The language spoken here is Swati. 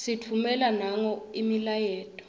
sitffumela nangabo imiyaleto